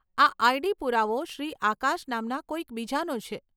આ આઈડી પુરાવો શ્રી આકાશ નામના કોઈક બીજાનો છે,